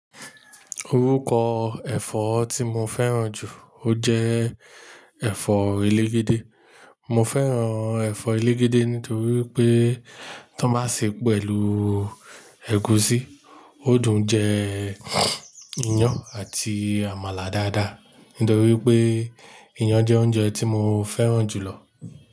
Orúkọ ẹ̀fọ́ tí mo fẹ́ràn jù, ó jẹ́ ẹ̀fọ́ elegede. Mo fẹ́ràn ẹ̀fọ́ elegede nítorí pé tan bá ṣe pẹ̀lú ẹ̀gúsí, ó dùn jẹ iyán àti àmàlà dáadáa. Nítorí pé iyán jẹ́ oúnjẹ tí mo fẹ́ràn jù lọ.